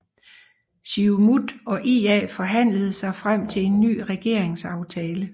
Siumut og IA forhandlede sig frem til en ny regeringsaftale